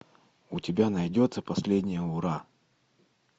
у тебя найдется последнее ура